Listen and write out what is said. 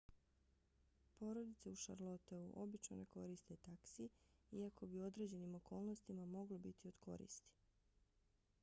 porodice u charlotteu obično ne koriste taksi iako bi u određenim okolnostima mogli biti od koristi